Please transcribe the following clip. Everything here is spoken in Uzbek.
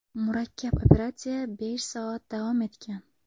Murakkab operatsiya besh soat davom etgan.